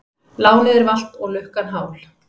Lánið er valt og lukkan hál.